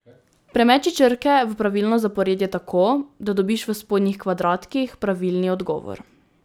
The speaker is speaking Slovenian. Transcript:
Premeči črke v pravilno zaporedje tako, da dobiš v spodnjih kvadratkih pravilni odgovor.